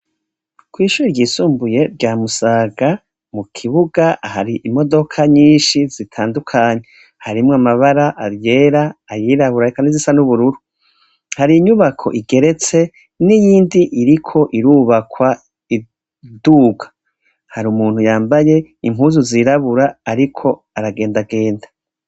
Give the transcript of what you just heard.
Kw'ishuri ryisumbuye rya Musaga, mu kibuga hari imodoka nyishi zitandukanye. Harimwo amabara ayera, ayirabura, eka n'izisa n'ubururu. Hari inyubako igeretse, n'iyindi iriko irubakwa iduga. Hari umuntu yambaye impuzu zirabura ariko aragendagenda.